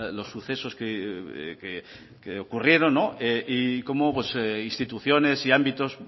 los sucesos que ocurrieron y cómo instituciones y ámbitos